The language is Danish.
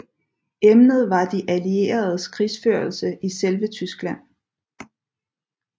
Emnet var de allieredes krigførelse i selve Tyskland